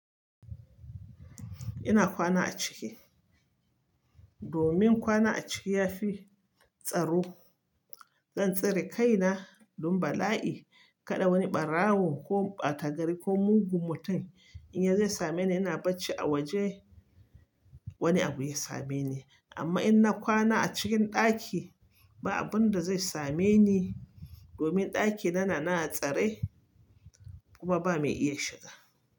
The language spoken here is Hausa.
Ina kwana a ciki. Domin kwana a ciki yafi tsaro. Zan tsare kaina don bala'i kada wani ɓarawo ko ɓatagari ko mugun mutum in yazo same ni, ina bacci a waje wani abu ya same ni. Amma in na kwana a cikin ɗaki ba abunda zai same ni domin ɗaki na, na, nan a tsare kuma ba mai iya shiga.